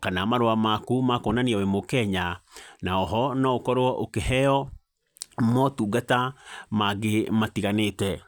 kana marua maku makwonania wĩ mũkenya, na oho no ũkorwo ũkĩheo motungata mangĩ matiganĩte .